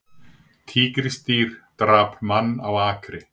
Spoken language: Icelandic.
Tígrisdýr drap mann á akri